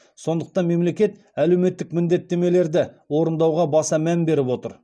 сондықтан мемлекет әлеуметтік міндеттемелерді орындауға баса мән беріп отыр